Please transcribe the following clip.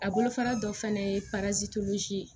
A bolofara dɔ fana ye